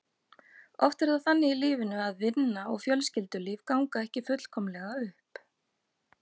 Oft er það þannig í lífinu að vinna og fjölskyldulíf ganga ekki fullkomlega upp.